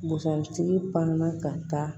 Busan tigi pan na ka taa